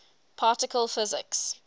particle physics